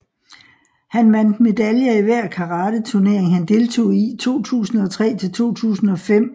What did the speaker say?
Han vandt medaljer i hver karate turnering han deltog i 2003 til 2005